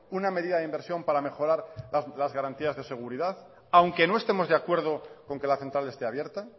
una medida de inversión para mejorar las garantías de seguridad aunque no estemos de acuerdo con que la central esté abierta